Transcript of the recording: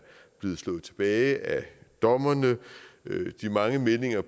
blevet slået tilbage af dommerne de mange meldinger